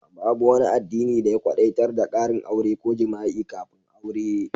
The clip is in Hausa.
Babu wani addini da ya kwadaitar da karin aure ko jima'i kafin aure.